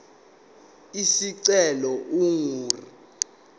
isicelo ingu r